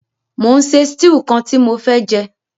Mo n se stew kan ti mo fé jẹ